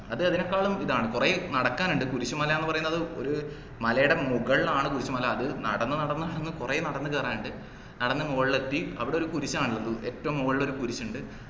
അത് അതിനെക്കാളും ഇതാണ് കൊറേ നടക്കാൻ ഇണ്ട് കുരിശുമല ന്നു പറയുന്നത് ഒര് മലയുടെ മുകളിലാണ് കുരിശുമല അത് നടന്നു നടന്നു നടന്നു കൊറേ നടന്നു കേറാനിണ്ട് നടന്നു മുകളിലെത്തി അവിടൊരു കുരിശാനുള്ളത് ഏറ്റവും മോളിൽ ഒരു കുരിശിൻഡ്